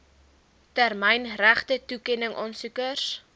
termyn regtetoekenning aansoekers